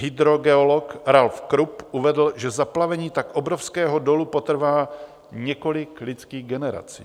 Hydrogeolog Ralph Krupp uvedl, že zaplavení tak obrovského dolu potrvá několik lidských generací.